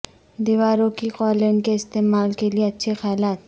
دیواروں کی قالین کے استعمال کے لئے اچھے خیالات